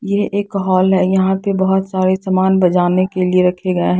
ये एक हॉल है यहां पे बहुत सारे सामान बजाने के लिए रखे गए हैं।